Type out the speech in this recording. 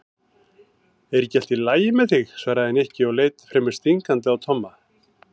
Er ekki allt lagi með þig? svaraði Nikki og leit fremur stingandi á Tomma.